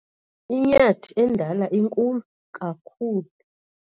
inyathi endala inkulu kakhulu